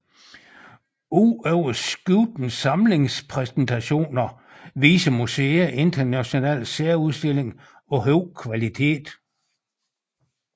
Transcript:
Ud over skiftende samlingspræsentationer viser museet internationale særudstillinger af høj kvalitet